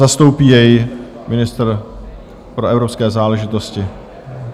Zastoupí jej ministr pro evropské záležitosti.